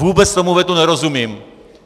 Vůbec tomu vetu nerozumím.